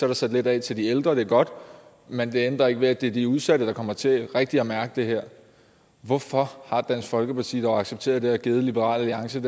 er sat lidt af til de ældre og det er godt men det ændrer ikke ved at det er de udsatte der kommer til rigtig at mærke det her hvorfor har dansk folkeparti dog accepteret det og givet liberal alliance